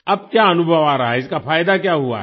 अब क्या अनुभव आ रहा है इसका फायदा क्या हुआ है